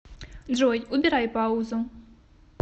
джой убирай паузу